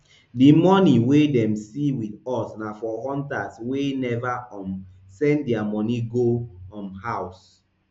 di money wey dem see wit us na for hunters wey never um send dia money go um house